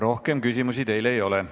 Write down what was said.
Rohkem küsimusi teile ei ole.